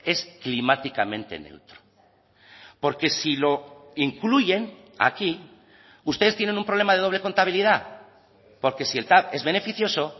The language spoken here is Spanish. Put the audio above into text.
es climáticamente neutro porque si lo incluyen aquí ustedes tienen un problema de doble contabilidad porque si el tav es beneficioso